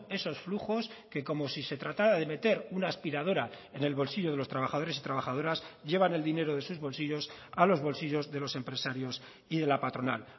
esos flujos que como si se tratara de meter una aspiradora en el bolsillo de los trabajadores y trabajadoras llevan el dinero de sus bolsillos a los bolsillos de los empresarios y de la patronal